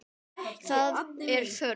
Það er þörf.